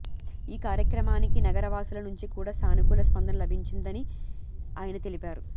ఈ కార్యక్రమానికి నగర వాసుల నుంచి కూడా సానుకూల స్పందన లభించిందని ఆయన తెలిపారు